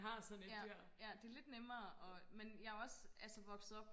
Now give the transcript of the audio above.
ja ja det lidt nemmere og men jeg er også altså vokset op